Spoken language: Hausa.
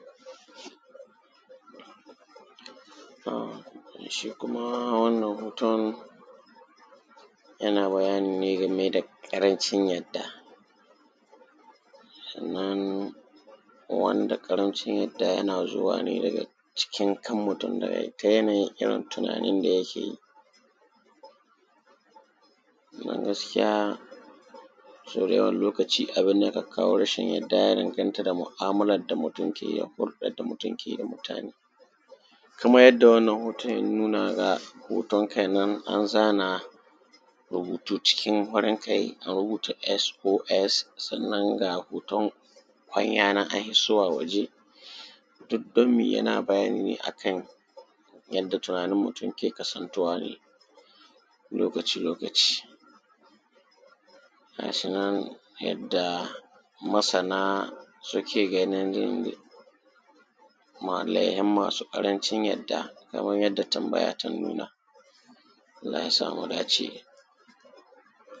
um shi kuma wannan hoton yana bayani ne game da ƙarancin yarda sannan wanda ƙarancin yarda yana zuwa ne daga cikin kan mutum daga ta yanayin irin tunanin da yake yi don gaskiya sau da yawan lokaci abin da yaka kawo rashin yarda ya danganta da mu’amalar da mutum ke yi hurdan da mutum ke yi da mutane kamar yadda wannan hoton ya nuna ga hoton kai nan an zana rubutu cikin farin kai an rubuta s o s sannan ga hoton kwanya nan an hissowa waje duk don me yana bayani ne a kan yanda tunanin mutum ke kasantuwa ne lokaci lokaci ga shi nan yadda masana suke ganin laihin masu ƙarancin yarda kaman yadda tambaya ta nuna allah ya sa mu dace